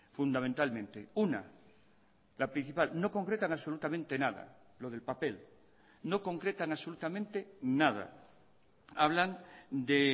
fundamentalmente una la principal no concretan absolutamente nada lo del papel no concretan absolutamente nada hablan de